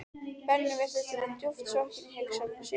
Benni virtist vera djúpt sokkinn í hugsanir sínar.